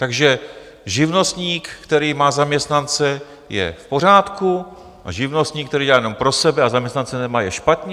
Takže živnostník, který má zaměstnance, je v pořádku a živnostník, který dělá jenom pro sebe a zaměstnance nemá, je špatně?